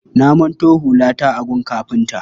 Na manto hulata a gun kafinta.